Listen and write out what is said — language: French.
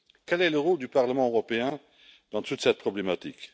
Quel est le rôle du Parlement européen dans toute cette problématique?